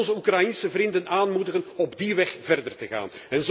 Wij moeten onze Oekraïense vrienden aanmoedigen op die weg verder te gaan.